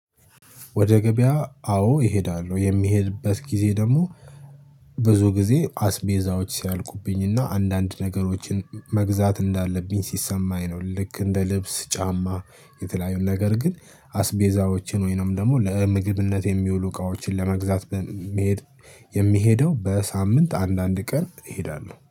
ወደ ገበያ አዎ እሄዳለሁ የሚሄድበት ጊዜ ደግሞ ብዙ ጊዜ አስቤዛዎች ሲያልቁብኝና አንዳንድ ነገሮችን መግዛት እንዳለብኝ ሲሰማኝ ነው። ልክ እንደ ልብስ ጫማ የተለያዩን ነገር ግን አስቤዛዎችን ወይንም ደግሞ ለምግብነት የሚውሉ እቃዎችን ለመግዛት የሚሄድ የሚሄደው በሳምንት አንዳንድ ቀን እሄዳለሁ